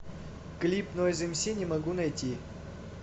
клип нойз эмси не могу найти